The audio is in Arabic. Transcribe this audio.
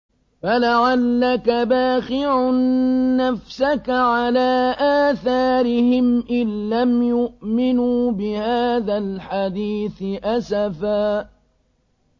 فَلَعَلَّكَ بَاخِعٌ نَّفْسَكَ عَلَىٰ آثَارِهِمْ إِن لَّمْ يُؤْمِنُوا بِهَٰذَا الْحَدِيثِ أَسَفًا